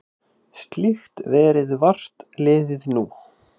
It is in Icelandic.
Slíkt verði vart liðið nú.